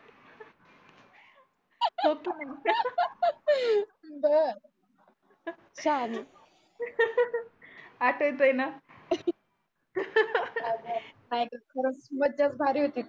तेवा बरं शाहनी आठवतय ना नाय ग खरचं मज्जाच भारी होती.